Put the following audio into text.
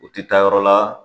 U ti taa yɔrɔ la